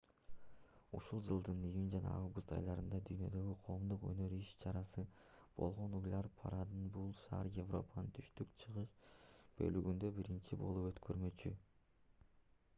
ушул жылдын июнь жана август айларында дүйнөдөгү коомдук өнөр иш-чарасы болгон уйлар парадын бул шаар европанын түштүк-чыгыш бөлүгүндө биринчи болуп өткөрмөкчү